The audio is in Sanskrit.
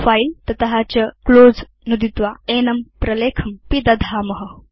फिले तत चClose नुदित्वा एनं प्रलेखं पिदधाम